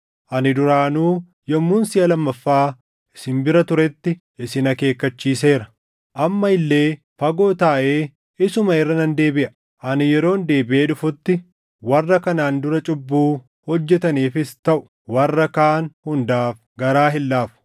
Ani duraanuu yommuun siʼa lammaffaa isin bira turetti isin akeekkachiiseera. Amma illee fagoo taaʼee isuma irra nan deebiʼa; ani yeroon deebiʼee dhufutti warra kanaan dura cubbuu hojjetaniifis taʼu warra kaan hundaaf garaa hin laafu;